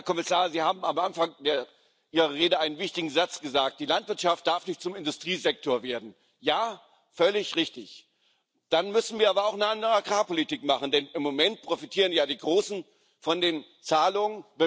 Herr Kommissar, Sie haben am Anfang Ihrer Rede einen wichtigen Satz gesagt Die Landwirtschaft darf nicht zum Industriesektor werden. Ja, völlig richtig dann müssen wir aber auch eine andere Agrarpolitik machen, denn im Moment profitieren ja die Großen von den Zahlungen.